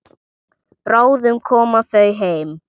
Bráðum koma þau heim.